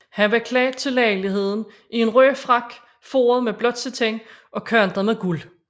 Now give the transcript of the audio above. Han var klædt til lejligheden i en rød frak foret med blåt satin og kantet med guld